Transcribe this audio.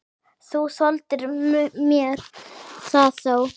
Þú þoldir mér það þó.